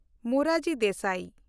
Morarji Desai